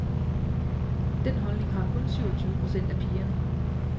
Den holdning har kun syvogtyve procent af pigerne.